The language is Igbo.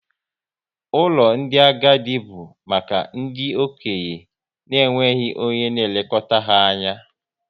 Ụlọ ndị agadi bụ maka ndị okenye na enweghị onye na elekọta ha anya